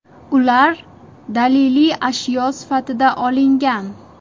Ular daliliy ashyo sifatida olingan.